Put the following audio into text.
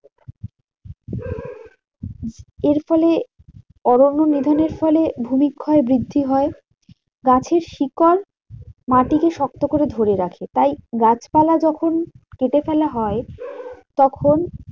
এর ফলে অরণ্য নিধনের ফলে ভূমিক্ষয় বৃদ্ধি হয়। গাছের শিকড় মাটিকে শক্ত করে ধরে রাখে। তাই গাছপালা যখন কেটে ফেলা হয় তখন